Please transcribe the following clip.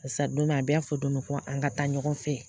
Barisa donmina a bɛɛ y'a fɔ don dɔ fɔ an ka taa ɲɔgɔn fɛ